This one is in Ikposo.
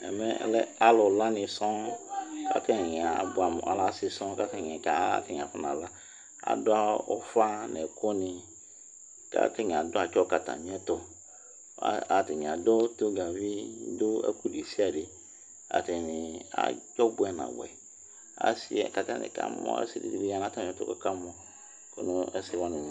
Ɛmɛlɛ alɛ alu laní sɔɔ Ataŋi abʋɛmu alɛ ɔsi sɔɔ kʋ ataŋi afɔ nala Aɖu ʋfa ŋu ɛku ni kʋ ataŋi atsɔ kʋ atamiɛtu Ataŋi tonʋgavi aɖu ɛkʋɛ ɖesiaɖe Ataŋi abʋɛ nabʋɛ Asi ɖìŋí bi ɖu atamiɛtu kʋ akamu ɛsɛ waŋi